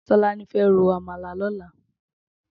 Tolani fè ró ámàlá lòlá